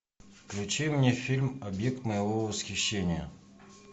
включи мне фильм объект моего восхищения